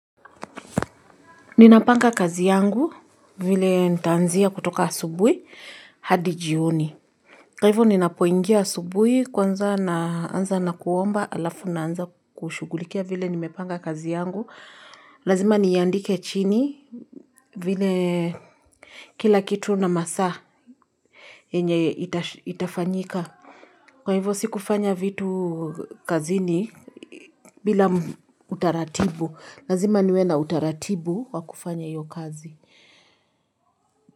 Ninapanga kazi yangu vile nitaanzia kutoka asubui hadi jioni. Kwa hivyo ninapo ingia asubui kwanza naanza na kuomba alafu naanza kushughulikia vile nimepanga kazi yangu. Lazima niandike chini vile kila kitu na masaa yenye itafanyika. Kwa hivyo sikufanya vitu kazini bila utaratibu. Lazima niwe na utaratibu wa kufanya hiyo kazi.